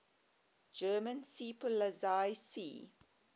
german seepolizei sea